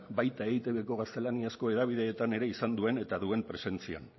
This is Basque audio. baita eitbko gaztelaniazko hedabideetan ere izan duen eta duen presentzia